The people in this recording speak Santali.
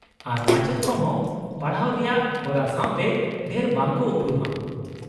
-ᱟᱨ ᱢᱟᱪᱮᱫ ᱠᱚ ᱦᱚᱸ ᱯᱟᱲᱦᱟᱣ ᱨᱮᱭᱟᱜ ᱦᱚᱨᱟ ᱥᱟᱶᱛᱮ ᱰᱷᱮᱨ ᱵᱟᱝ ᱠᱚ ᱩᱯᱨᱩᱢᱟ ᱾